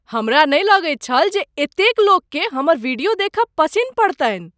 हमरा नहि लगैत छल जे एतेक लोककेँ हमर वीडियो देखब पसिन पड़तनि।